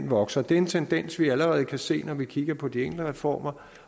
vokser det er en tendens vi allerede kan se når vi kigger på de enkelte reformer